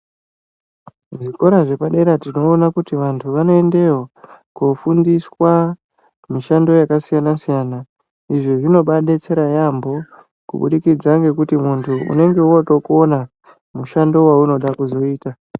Zvikora zve padera tinoona kuti vantu vano endeyo ko fundiswa mishando yaka siyana siyana izvi zvinobai detsera yambo kubudikidza ngekuti muntu unenge woto kona mushando waunoda kuzoita.